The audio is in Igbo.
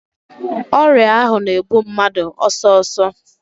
Ọrịa ahụ na-egbu mmadụ ọsọsọ.